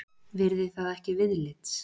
Virði það ekki viðlits.